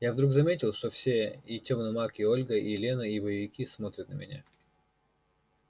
я вдруг заметил что все и тёмный маг и ольга и лена и боевики смотрят на меня